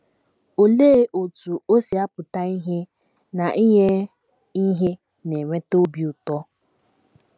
Olee otú o si apụta ìhè na inye ihe na - eweta obi ụtọ?